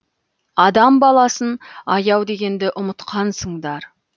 адам баласын аяу дегенді ұмытқансыңдар